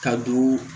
Ka don